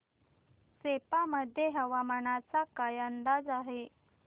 सेप्पा मध्ये हवामानाचा काय अंदाज आहे